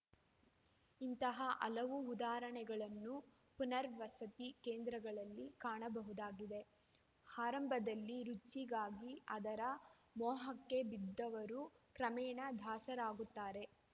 ಇಂತಹ ಹಲವು ಉದಾಹರಣೆಗಳನ್ನು ಪುನರ್ವಸತಿ ಕೇಂದ್ರಗಳಲ್ಲಿ ಕಾಣಬಹುದಾಗಿದೆ ಆರಂಭದಲ್ಲಿ ರುಚಿಗಾಗಿ ಅದರ ಮೋಹಕ್ಕೆ ಬಿದ್ದವರು ಕ್ರಮೇಣ ದಾಸರಾಗುತ್ತಾರೆ